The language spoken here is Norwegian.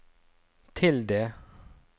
tilde